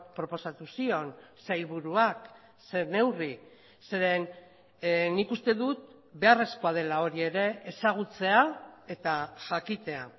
proposatu zion sailburuak ze neurri zeren nik uste dut beharrezkoa dela hori ere ezagutzea eta jakitea